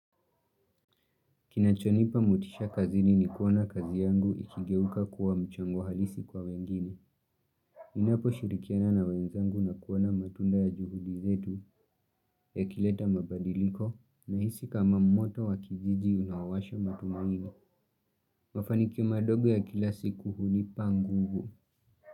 Kinachonipa motisha kazini ni kuona kazi yangu ikigeuka kuwa mchango halisi kwa wengine. Ninaposhirikiana na wenzangu na kuona matunda ya juhudi zetu yakileta mabadiliko nahisi kama moto wa kijiji unawasha matumaini. Mafanikio madogo ya kila siku hunipa nguvu.